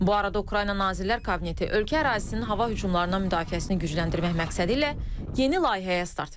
Bu arada Ukrayna Nazirlər Kabineti ölkə ərazisinin hava hücumlarından müdafiəsini gücləndirmək məqsədilə yeni layihəyə start verib.